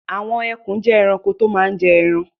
Àwọn ẹkùn jẹ́ ẹranko tó máa ń jẹ ẹran.